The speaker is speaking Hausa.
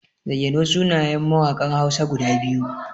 Zayyano sunayen mawaƙan Hausa guda biyu.